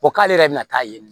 Ko k'ale yɛrɛ bɛna taa ye